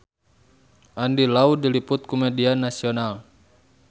Andy Lau diliput ku media nasional